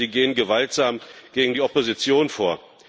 Nein, sie gehen gewaltsam gegen die Opposition vor.